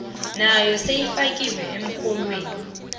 nayo seyifakiwe emrholweni